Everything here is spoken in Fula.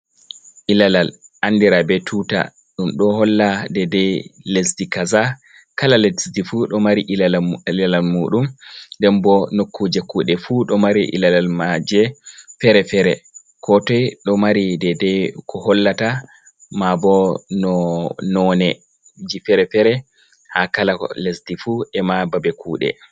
Ilalal andira be tuta. Ɗum ɗo holla dedei lesdi kaza, kala lesdi fu ɗo mari ilalal muɗum. nden bo nokkuje kuɗe fu ɗo mari ilalal maaje fere-fere ko toi ɗo mari deda ko hollata. Maa bo, no noneji fere-fere haa kala lesdi fu e'ma babe kuɗe.